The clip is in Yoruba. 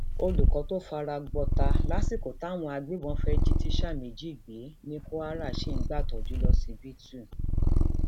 olùkọ tó fara gbọtà lásìkò táwọn agbébọn fẹ jí tíṣà méjì gbé ní kwara ṣì ń gbàtọjú lọsibítù